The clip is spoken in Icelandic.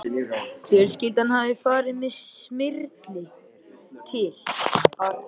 Fjölskyldan hafði farið með Smyrli til